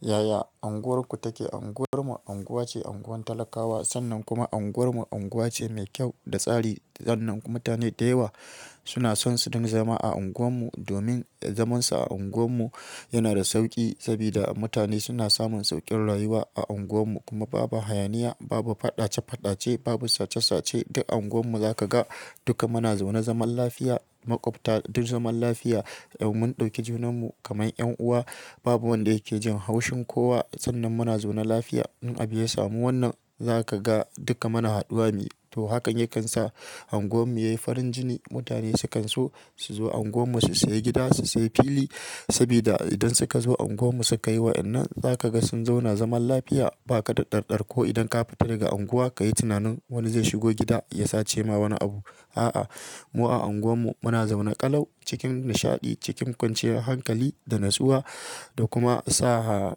Yaya unguwar ku take? Unguwar mu unguwa ce unguwan talakawa. Sannan kuma unguwarmu unguwa ce mai kyau da tsari. Sannan mutane da yawa suna son su dinga zama a unguwar mu domin zamansa a unguwar mu yana da sauƙi sabida mutane suna samun sauƙin rayuwa a unguwar mu. Kuma babu hayaniya, babu faɗace-faɗace, babu sace-sace. Duk unguwarmu za ka ga duka muna zaune zaman lafiya, maƙwabta duk zaman lafiya. Mun ɗauki junanmu kaman ƴan'uwa. Babu wanda yake jin haushin kowa. Sannan muna zaune lafiya. In abu ya samu wannan, za ka ga duka mana haɗuwa ne. To, hakan yakan sa unguwar mu yayi farin jini. Mutane sukan so su zo unguwar mu su sayi gida, su sayi fili sabida idan suka zo unguwar mu suka yiwa, idan nan za ka ga sun zauna zaman lafiya. Ba ka da ɗarɗar ko idan ka fita daga unguwa ka yi tunanin wani zai shigo gida ya sace ma wani abu. A'a, mu a unguwarmu muna zaune ƙalau cikin nishaɗi, cikin kwanciyar hankali da natsuwa da kuma sa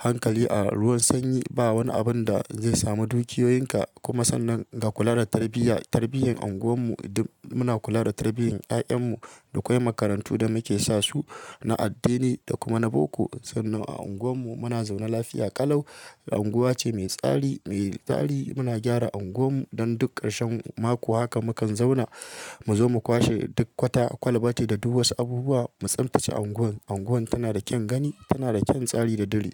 hankali a ruwan sanyi. Ba wani abun da zai samu dukiyoyinka. Kuma sannan ga kula da tarbiyya, tarbiyyar unguwar mu duk muna kula da tarbiyyar 'ya'yan mu. Akwai makarantu da muke sa su na addini da kuma na boko. Sannan a unguwarmu muna zaune lafiya ƙalau. Unguwa ce mai tsari, mai tsari. Muna gyara unguwar mu don duk ƙarshen mako. Haka mukan zauna mu zo mu kwashe duk kwata kwalbati da duk wasu abubuwa mu tsintace unguwar. Unguwar tana da kyan gani, tana da kyan tsari da diri.